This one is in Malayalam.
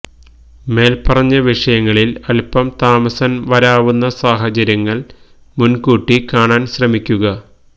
മേല്പ്പറഞ്ഞ വിഷയങ്ങളില് അല്പം താമസം വരാവുന്ന സാഹചര്യങ്ങള് മുന്കൂട്ടി കാണാന് ശ്രമിക്കുക